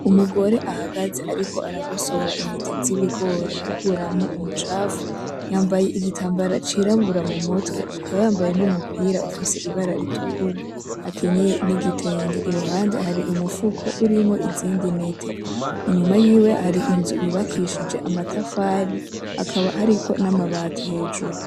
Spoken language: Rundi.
Umugore ahagaze ariko aragosora inete z'ibigori akuramwo umucafu. Yambaye igitambara c'irabura mu mutwe, akaba yambaye n'umupira ufise ibara ritukura, akinyeye n'igitenge. Iruhande hari umufuko urimwo izindi nete. Inyuma yiwe hari inzu yubakishijwe amatafari, hakaba hariko n'amabati hejuru.